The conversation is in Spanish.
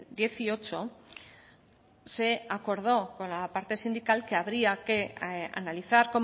dieciocho se acordó con la parte sindical que habría que analizar